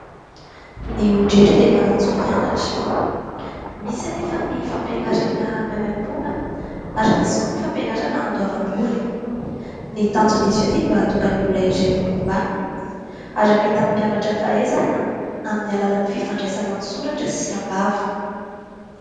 Ny olon-drehetra dia manan-jo hianatra, misy anefa ny fampianarana maimaim-poana ary misy koa ny fampianarana handoavam-bola . Ny tanjon'izy io dia mba hahatonga ny olona iray ho olom-banona ary hampita amin'ny mpianatra fahaizana amin'ny alalan'ny fifandraisana an-tsoratra sy am-bava.